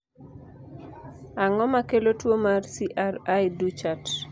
ang'o makelo tuo mar cri du chat ?